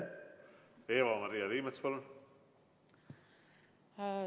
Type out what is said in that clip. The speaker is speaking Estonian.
Eva-Maria Liimets, palun!